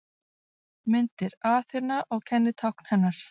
Myndir: Aþena og kennitákn hennar.